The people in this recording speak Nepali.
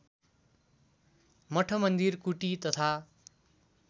मठमन्दिर कुटी तथा